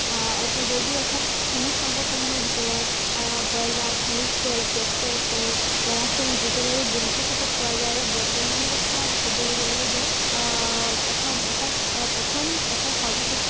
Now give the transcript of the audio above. আহ জৈৱিক অৰ্থাত খনিজ সম্পদসমূহৰ ভিতৰত আহ কয়লা, খনিজ তেল, পেট্ৰল, কে ~কেৰাচিন, ডিজেল আৰু বহুতো ক্ষেত্ৰত পোৱা যায়। আৰু বৰ্তমান কথাত কবলৈ গলে যে আহ প্ৰথম অৰ্থাত প্ৰথম অৰ্থাত সৰ্বশ্ৰেষ্ঠ